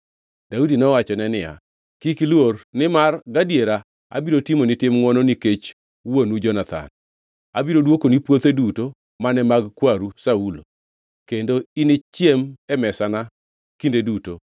Daudi nowachone niya, “Kik iluor, nimar gadiera abiro timoni tim ngʼwono nikech wuonu Jonathan. Abiro dwokoni puothe duto mane mag kwaru Saulo, kendo inichiem e mesana kinde duto.”